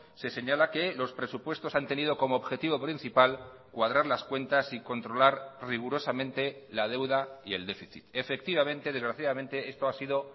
se señala que los presupuestos han tenido como objetivo principal cuadrar las cuentas y controlar rigurosamente la deuda y el déficit efectivamente desgraciadamente esto ha sido